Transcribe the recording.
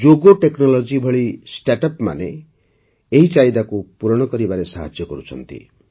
Zogo Technologies ଭଳି ଷ୍ଟାର୍ଟଅପ୍ମାନେ ଏହି ଚାହିଦାକୁ ପୂରଣ କରିବାରେ ସାହାଯ୍ୟ କରୁଛନ୍ତି